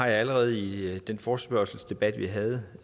allerede i den forespørgselsdebat vi havde